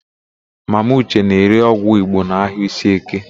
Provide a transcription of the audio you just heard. Mama ụche na-ere ọgwụ Igbo n'ahịa Iseeke.